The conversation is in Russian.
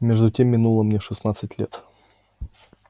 между тем минуло мне шестнадцать лет